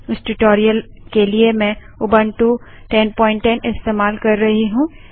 इस ट्यूटोरियल के लिए मैं उबंटू 1010 इस्तेमाल कर रही हूँ